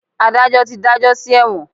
Adajọ ti dajọ si ẹwọn.